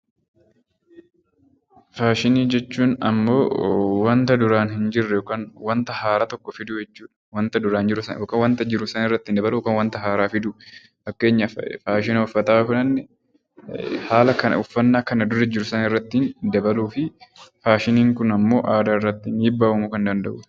Faashinii jechuun ammoo wanta duraan hin jirre yookaan wanta haaraa tokko fiduu jechuu dha. Wanta duraan jiru sana yookaan wanta jiru sana irratti dabaluun wanta haaraa fiduu. Fakkeenyaaf faashina uffataa yoo fudhanne haala kana uffannaa kana dura jiru sana irratti dabaluu fi faashiniin kun immoo aadaa irratti dhiibbaa uumuu kan danda'u dha.